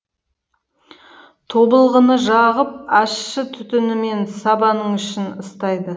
тобылғыны жағып ащы түтінімен сабаның ішін ыстайды